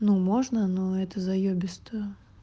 ну можно но это заёбисто